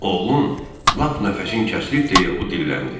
Oğlum, lap nəfəsin kəsilib deyə o dilləndi.